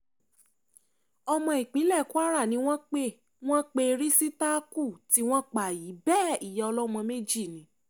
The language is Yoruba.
ọmọ ìpínlẹ̀ kwara ni wọ́n pe wọ́n pe rìsítákù tí wọ́n pa yìí bẹ́ẹ̀ ìyá ọlọ́mọ méjì ni